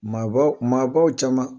Maabaw maabaw caman